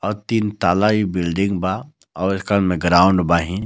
और तीन तल्ला इ बिल्डिंग बा और एकर में ग्राउंड बाहीं.